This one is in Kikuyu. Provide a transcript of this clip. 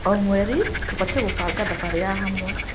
O mweri, tũbatiĩ gũbanga thabarĩ ya hamwe.